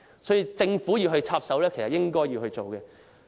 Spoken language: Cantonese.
所以，政府理應插手處理。